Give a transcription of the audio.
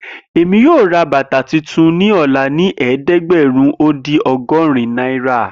Emi yoo ra bata tuntun ni ọla ni ẹdẹgbẹrun o din ọgọrin naira